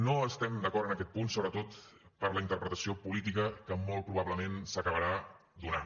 no estem d’acord en aquest punt sobretot per la interpretació política que molt probablement s’acabarà donant